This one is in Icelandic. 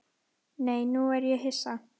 Nei, nú er ég hissa!